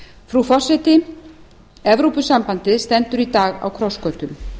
frú forseti evrópusambandið stendur í dag á krossgötum